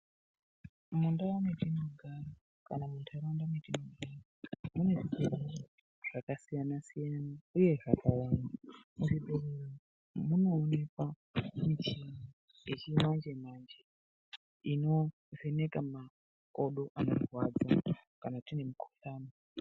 Mundau metinogara kana muntaraunda metinogara mune zvirwere zvakasiyana-siyana, uye zvakawanda. Muzvibhedhlera umo, munoonekwa michini yechimanje-manje , inovheneka makodo anorwadza, kana tine mikhuhlani.